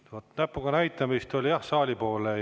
Vaat näpuga näitamist oli jah saali poole.